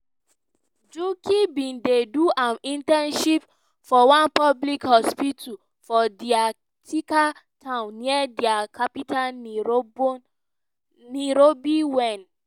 njuki bin dey do im internship for one public hospital for di thiaka town near di capital nairobi wen